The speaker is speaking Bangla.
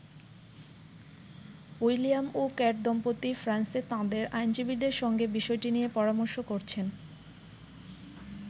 উইলিয়াম ও কেট দম্পতি ফ্রান্সে তাঁদের আইনজীবীদের সঙ্গে বিষয়টি নিয়ে পরামর্শ করছেন।